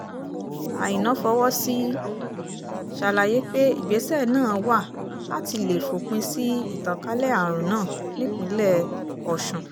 àìna fọwọ́ sí ṣàlàyé pé ìgbésẹ̀ náà wà láti lè fòpin sí ìtànkalẹ̀ àrùn náà nípínlẹ̀ ọ̀sùn